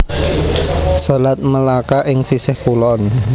Selat Melaka ing sisih kulon